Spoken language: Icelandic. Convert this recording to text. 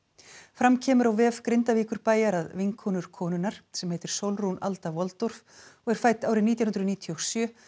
fram kemur á vef Grindavíkurbæjar að vinkonur konunnar sem heitir Sólrún Alda og er fædd árið nítján hundruð níutíu og sjö